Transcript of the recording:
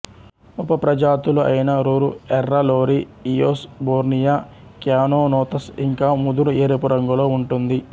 ఉపప్రజాతులు అయిన బురు ఎర్ర లోరీ ఇయోస్ బోర్నియా క్యానోనోథస్ ఇంకా ముదురు ఎరుపు రంగులో ఉంటుంది